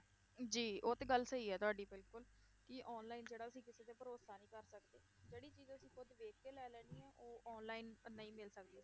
ਜੀ ਉਹ ਤੇ ਗੱਲ ਸਹੀ ਹੈ ਤੁਹਾਡੀ ਬਿਲਕੁਲ ਕਿ online ਜਿਹੜਾ ਅਸੀਂ ਕਿਸੇ ਤੇ ਭਰੋਸਾ ਨਹੀਂ ਕਰ ਸਕਦੇ, ਜਿਹੜੀ ਚੀਜ਼ ਅਸੀਂ ਖੁੱਦ ਵੇਖ ਕੇ ਲੈ ਲੈਣੀ ਹੈ ਉਹ online ਨਹੀਂ ਮਿਲ ਸਕਦੀ।